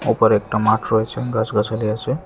ওপারে একটা মাঠ রয়েছে গাছগাছালি আছে।